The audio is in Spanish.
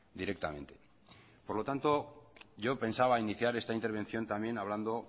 directamente por lo tanto yo pensaba iniciar esta intervención también hablando